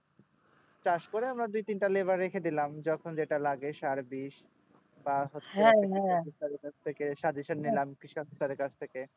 চাষ করে আমরা দুই তিন তা laborer রেখে দিলাম যখন যেটা লাগে সার বিষ